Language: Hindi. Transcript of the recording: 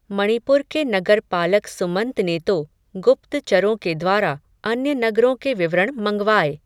मणिपुर के नगरपालक सुमंत ने तो, गुप्त चरों के द्वारा, अन्य नगरों के विवरण मँगवाये